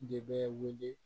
De bɛ wele